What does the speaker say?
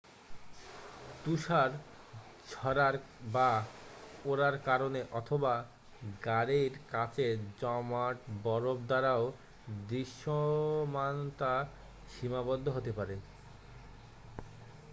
তুষার ঝরার বা ওড়ার কারণে অথবা গাড়ির কাচে জমাট বরফ দ্বারাও দৃশ্যমানতা সীমাবদ্ধ হতে পারে